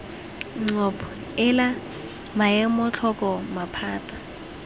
ncop ela maemo tlhoko maphata